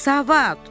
Savad!